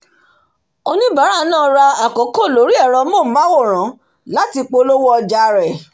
oníbàárà náà ra àkokò lórí ẹ̀rọ amóhùnmáwòrán láti polówó òjà rẹ̀